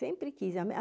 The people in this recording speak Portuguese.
Sempre quis. A minha